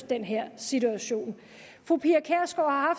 den her situation fru pia kjærsgaard har